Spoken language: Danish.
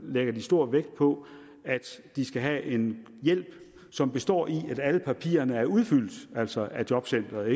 lægges stor vægt på at de skal have en hjælp som består i at alle papirerne er udfyldt altså af jobcenteret